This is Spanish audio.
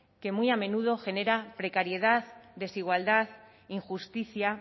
que muy a menudo genera precariedad desigualdad injusticia